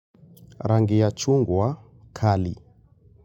Rangi ya chungwa kali.